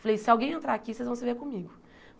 Falei, se alguém entrar aqui, vocês vão se ver comigo.